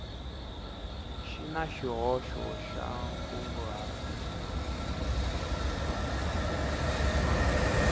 xi na xihoxo xa nkunguhato